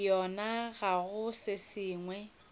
yona ga go se sengwe